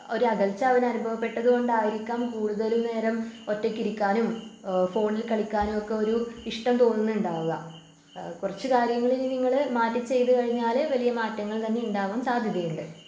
ഒരകൽച്ച അവന് അനുഭവപ്പെട്ടതുകൊണ്ടായിരിക്കാം കൂടുതലും നേരം ഒറ്റക്കിരിക്കാനും ഏഹ് ഫോണിൽ കളിക്കാനുമൊക്കെ ഒരു ഇഷ്ടം തോന്നുന്നുണ്ടാവുക ആഹ് കുറച്ചു കാര്യങ്ങളിനി നിങ്ങള് മാറ്റി ചെയ്തുകഴിഞ്ഞാല് വലിയ മാറ്റങ്ങള് തന്നെ ഉണ്ടാവാൻ സാധ്യതയുണ്ട്.